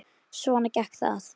Svona gekk það.